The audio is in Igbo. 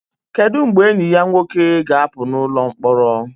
Kedu mgbe enyi ya nwoke ga-apụ n'ụlọ mkpọrọ?